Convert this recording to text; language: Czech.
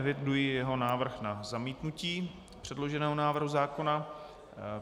Eviduji jeho návrh na zamítnutí předloženého návrhu zákona.